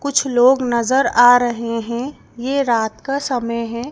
कुछ लोग नजर आ रहे हैं यह रात का समय है।